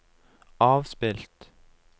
avspilt